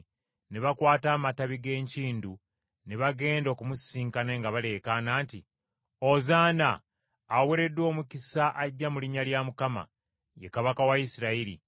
ne bakwata amatabi g’enkindu ne bagenda okumusisinkana nga baleekaana nti, “Ozaana.” “Aweereddwa omukisa ajja mu linnya lya Mukama.” “Ye Kabaka wa Isirayiri.”